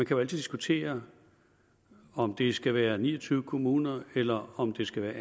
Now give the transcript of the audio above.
kan diskutere om det skal være ni og tyve kommuner eller om det skal være